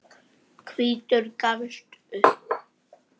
Hvítur gafst upp.